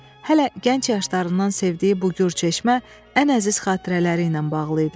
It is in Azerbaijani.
Hələ gənc yaşlarından sevdiyi bu gür çeşmə ən əziz xatirələri ilə bağlı idi.